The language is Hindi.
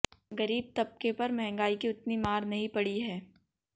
गरीब तबके पर महंगाई की उतनी मार नहीं पड़ी है